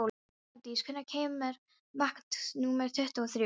Bergdís, hvenær kemur vagn númer tuttugu og þrjú?